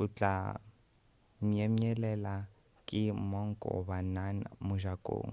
o tla myemyelela ke monk goba nun mojakong